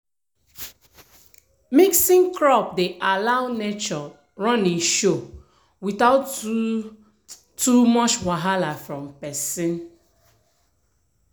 mixing crop dey allow nature run e show without too too much wahala from person.